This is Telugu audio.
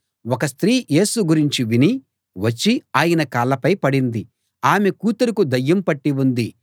ఒక స్త్రీ యేసు గురించి విని వచ్చి ఆయన కాళ్ళపై పడింది ఆమె కూతురుకు దయ్యం పట్టి ఉంది